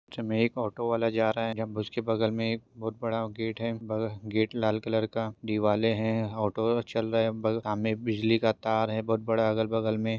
एक ऑटो वाला जा रहा हैं उसके बगल मे एक बहुत बडा गेट हैं गेट लाल कलर का दीवाले हैं ऑटो हैं और चल रहे हैं सामने एक बिजली का तार हैं बोहोत बड़ा अगल बगल में।